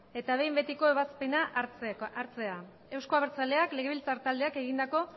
eta behin betiko ebazpena hartzea euzko abertzaleak legebiltzar taldeak egindako